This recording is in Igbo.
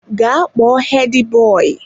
Gaa kpọọ Hedi boyi!